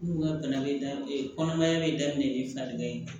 N'u ka bana bɛ da kɔnɔmaya bɛ daminɛ ni farikɛ ye